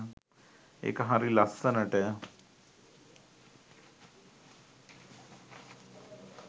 ඒක හරි ලස්සනට